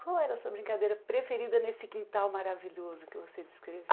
Qual era a sua brincadeira preferida nesse quintal maravilhoso que você